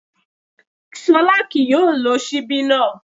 Ṣọlá kì yóò lo ṣíbí náà